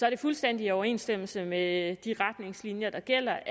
er i fuldstændig overensstemmelse med de retningslinjer der gælder